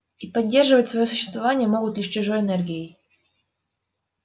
и поддерживать своё существование могут лишь чужой энергией